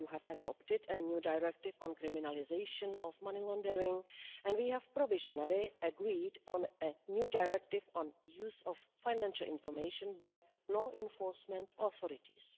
You have adopted a new directive on criminalisation of money laundering and we have provisionally agreed on a new directive on the use of financial information by law enforcement authorities.